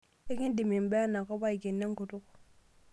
Ekindim imbaa enakoP aikeno enkutuk.